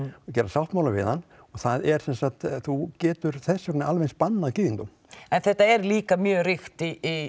og gera sáttmála við hann og það er sem sagt þú getur þess vegna alveg bannað gyðingum en þetta er líka mjög ríkt